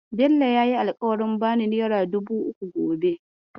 Bello yayi alƙawarin bani nera dubu uku gobe.